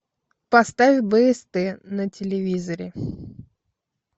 поставь бст на телевизоре